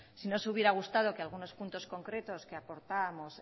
si nos hubiera gustado que algunos puntos concretos que aportábamos